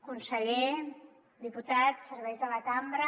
conseller diputats serveis de la cambra